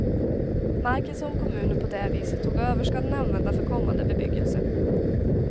Marken som kommunen på det viset tog över ska den använda för kommande bebyggelse.